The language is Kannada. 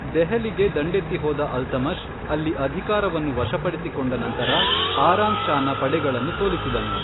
ದೆಹಲಿಗೆ ದಂಡೆತ್ತಿ ಹೋದ ಅಲ್ತಮಷ್, ಅಲ್ಲಿ ಅಧಿಕಾರವನ್ನು ವಶಪಡಿಸಿಕೊಂಡ ನಂತರ ಆರಾಮ್ ಷಾನ ಪಡೆಗಳನ್ನು ಸೋಲಿಸಿದನು.